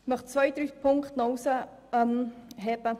Ich möchte aber noch einige Punkte hervorstreichen.